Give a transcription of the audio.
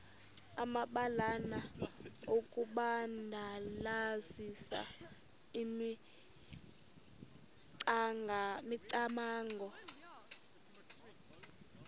amabalana okudandalazisa imicamango